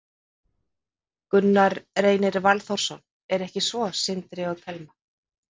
Gunnar Reynir Valþórsson: Er ekki svo, Sindri og Telma?